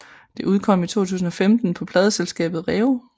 Det udkom i 2015 på pladeselskabet REO